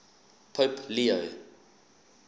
pope leo